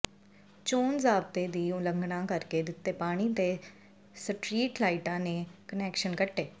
ਚੋਣ ਜ਼ਾਬਤੇ ਦੀ ਉਲੰਘਣਾ ਕਰਕੇ ਦਿੱਤੇ ਪਾਣੀ ਤੇ ਸਟਰੀਟ ਲਾਈਟਾਂ ਦੇ ਕੁਨੈਕਸ਼ਨ ਕੱਟੇ